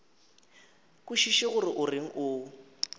kwešiše gore o reng o